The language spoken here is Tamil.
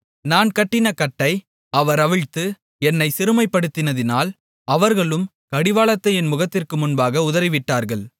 நான் கட்டின கட்டை அவர் அவிழ்த்து என்னைச் சிறுமைப்படுத்தினதினால் அவர்களும் கடிவாளத்தை என் முகத்திற்கு முன்பாக உதறிவிட்டார்கள்